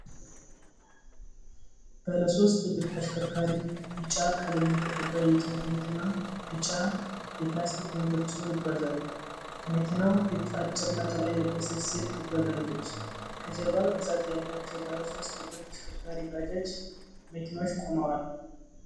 ባለ ሦስት እግር ተሽከርካሪ ቢጫ ቀለም የተቀባ የጭነት መኪና ቢጫ የፕላስቲክ ወንበር ጭኖ ይጓዛል። ከመኪናዉ ፊት አጭር ነጠላ የለበሰች ሴት ትጓዛለች። ከጀርባ ብዛት ያላቸዉ ባለሦስት እግር ተሽከርካሪ ባጃጅ መኪኖች ቆመዋል።